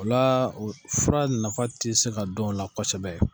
Olaa o fura nafa te se ka don ola kosɛbɛ